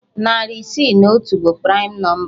Narị isii na otu bụ praịm nọmba